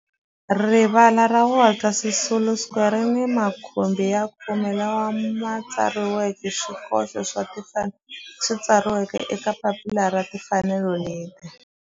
Rivala ra Walter Sisulu Square ri ni makhumbi ya khume lawa ma tsariweke swikoxo swa timfanelo leswi tsariweke eka papila ra timfanelo leswi